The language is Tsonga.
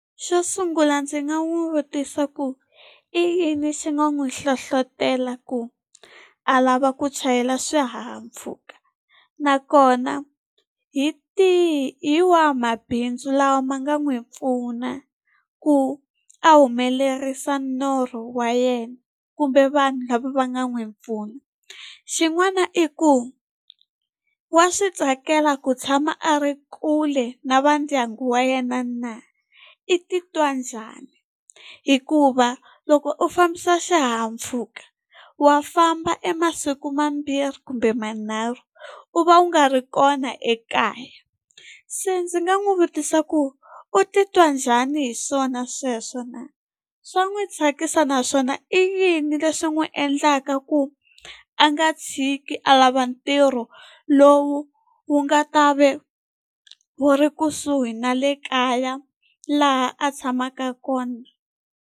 Xo sungula ndzi nga n'wi vutisa ku i yini xi nga n'wi hlohlotela ku a lava ku chayela swihahampfhuka? Nakona hi tihi hi wahi mabindzu lawa ma nga n'wi pfuna ku a humelerisa norho wa yena. kumbe vanhu lava va nga n'wi pfuna? Xin'wana i ku, wa swi tsakela ku tshama a ri kule na va ndyangu wa yena na? I titwa njhani, hikuva loko u fambisa xihahampfhuka wa famba emasiku ma mbirhi kumbe ma nharhu u va u nga ri kona ekaya, se ndzi nga n'wi vutisa ku u titwa njhani hi swona sweswo na? Swa n'wi tsakisa naswona i yini leswi n'wi endlaka ku a nga tshiki a lava ntirho lowu wu nga ta va wu ri kusuhi na le kaya, laha a tshamaka kona?